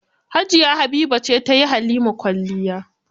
Jiya Habiba ce ta yi Halima kwalliya.